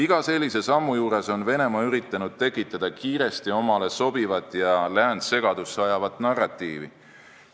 Iga sellise sammu puhul on Venemaa üritanud tekitada kiiresti omale sobivat ja läänt segadusse ajavat narratiivi.